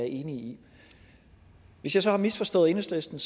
i hvis jeg så har misforstået enhedslisten